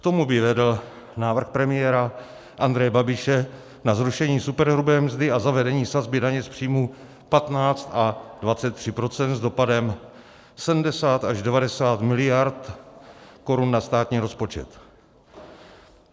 K tomu by vedl návrh premiéra Andreje Babiše na zrušení superhrubé mzdy a zavedení sazby daně z příjmů 15 a 23 % s dopadem 70 až 90 miliard korun na státní rozpočet.